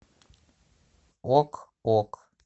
ок ок